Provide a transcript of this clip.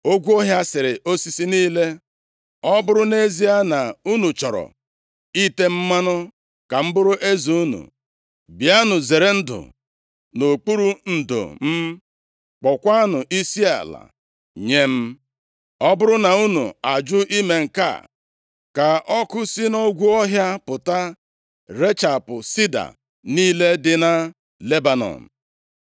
“Ogwu ọhịa sịrị osisi niile, ‘Ọ bụrụ nʼezie na unu chọrọ ite m mmanụ ka m bụrụ eze unu, bịanụ zere ndụ nʼokpuru ndo m kpọkwanụ isiala nye m. Ọ bụrụ na unu ajụ ime nke a, ka ọkụ si nʼogwu ọhịa pụta rechapụ sida niile dị na Lebanọn!’